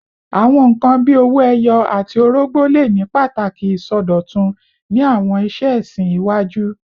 Awọn nkan bii owo eyo ati orogbo le ni pataki isọdọtun ni awọn iṣe ẹsin iwaju